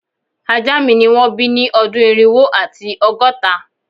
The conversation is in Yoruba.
Aja mi ni won bi ni odun irinwo ati ọgọta